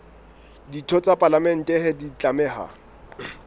ditho tsa palamente di tlameha